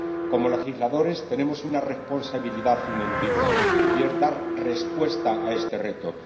Como legisladores, tenemos una responsabilidad ineludible, y es dar respuesta a este reto.